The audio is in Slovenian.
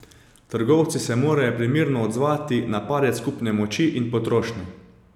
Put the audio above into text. Trgovci se morajo primerno odzvati na padec kupne moči in potrošnje.